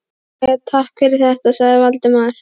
Jæja, takk fyrir þetta sagði Valdimar.